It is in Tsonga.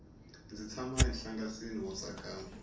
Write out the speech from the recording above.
ndzi tshama enhlangasini wo tsakama